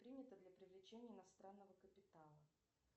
принято для привлечения иностранного капитала